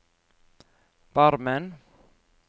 Barmen